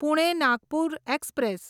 Pune Nagpur express